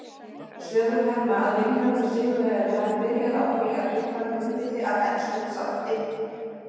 Sögur herma að Vilhjálmur sigurvegari hafi byrjað á því að éta munnfylli af enskum sandi.